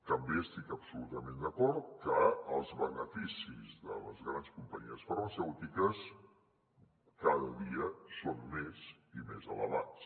també estic absolutament d’acord que els beneficis de les grans companyies farmacèutiques cada dia són més i més elevats